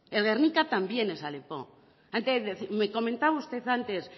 el guernica también es alepo antes me comentaba usted antes